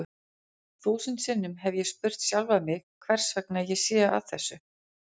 Þúsund sinnum hef ég spurt sjálfan mig hversvegna ég sé að þessu.